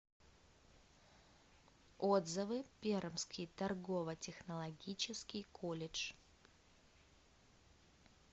отзывы пермский торгово технологический колледж